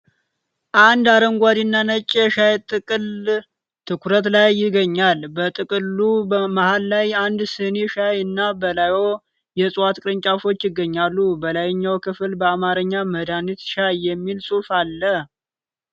አንድ አረንጓዴና ነጭ የሻይ ጥቅል ትኩረት ላይ ይገኛል። በጥቅሉ መሃል ላይ አንድ ስኒ ሻይ እና በላይዋ የዕፅዋት ቅርንጫፎች ይገኛሉ። በላይኛው ክፍል በአማርኛ "መድኃኒት ሻይ" የሚል ጽሑፍ አለ።